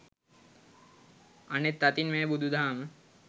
අනෙත් අතින් මෙය බුදු දහම